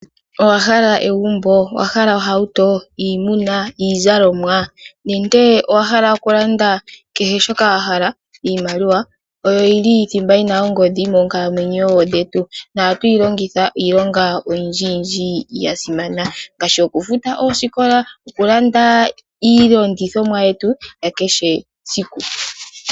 Owahala egumbo, ohauto, iimuna, iizalomwa nenge owa hala okulanda kehe shoka wahala iimaliwa oyo yili thimba yina ongodhi moonkalamwenyo dhetu. Ohatu yilongitha iilonga oyindji yasimana ngaashi okufuta oosiko, okulanda iilongithomwa yetu yakehe esiku.